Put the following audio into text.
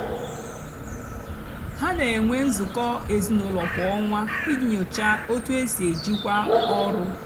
hà nà-ènwé nzukọ ézinụlọ kwá ọnwá íjì nyochaa ótú é sì èjìkwá ọrụ.